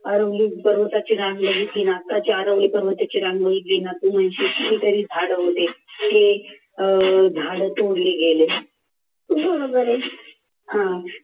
अरवली पर्वताची रांग बघितली ना तर अरवली पर्वताची रांग बघितली ना तू म्हणशील की कितीतरी झाड होते ते झाड तोडले गेले